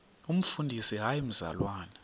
umfundisi hayi mzalwana